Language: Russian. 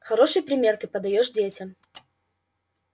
хороший пример ты подаёшь детям